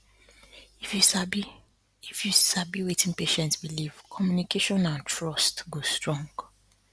if you sabi if you sabi wetin patient believe communication and trust go strong